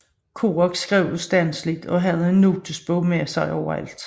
Kerouac skrev ustandseligt og havde en notesbog med sig overalt